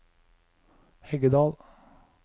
Heggedal